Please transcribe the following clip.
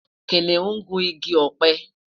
kìnìún gu ìgi ope